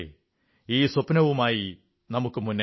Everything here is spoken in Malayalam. ഈ സ്വപ്നവുമായി നമുക്കു മുന്നേറാം